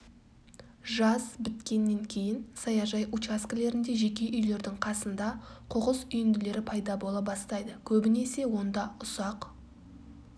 жаз біткеннен кейін саяжай учаскілерінде жеке үйлердің қасында қоқыс үйінділері пайда бола бастайды көбінесе онда ұсақ